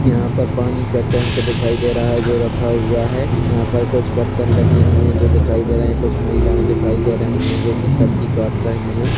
यहाँ पर पानी का टेंक दिखाई दे रहा है जो रखा हुआ है यहाँ पर कुछ बर्तन रखे हुये है जो दिखाई दे रहे है कुछ महिलाये दिखाई दे रही है जो कि सबजि काट रही हैं।